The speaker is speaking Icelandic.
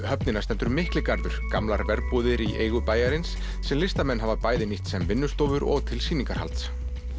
höfnina stendur Mikligarður gamlar verbúðir í eigu bæjarins sem listamenn hafa bæði nýtt sem vinnustofur og til sýningarhalds